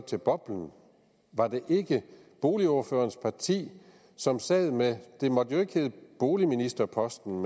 til boblen var det ikke boligordførerens parti som sad med det måtte jo ikke hedde boligministerposten